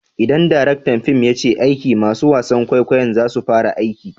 Idan direktan fim ya ce aiki! masun wasan kwaikwayon za su fara aiki.